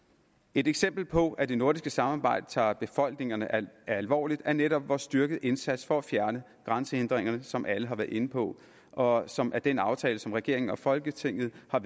et eksempel på at det nordiske samarbejde tager befolkningerne alvorligt er netop vor styrkede indsats for at fjerne grænsehindringerne som alle har været inde på og som er den aftale som regeringen og folketinget har